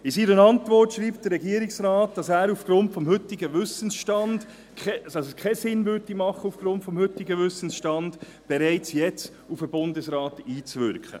In seiner Antwort schreibt der Regierungsrat, dass es auf Grund des heutigen Wissensstands keinen Sinn machen würde, bereits jetzt auf den Bundesrat einzuwirken.